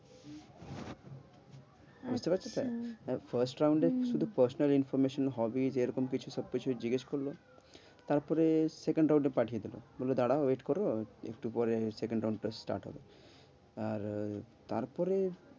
বুঝতে পারছ তো first round এ শুধু personal information হবে যে এরকম কিছু সব কিছু জিজ্ঞাসা করলো তারপরে second round তে পাঠিয়ে দিলো, বললো দাড়াও wait করো একটু পরে second round টা start হবে। আর তারপরে